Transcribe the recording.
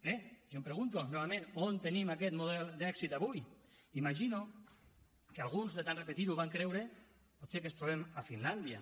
bé jo em pregunto novament on tenim aquest model d’èxit avui imagino que alguns de tant repetir ho van creure potser que ens trobem a finlàndia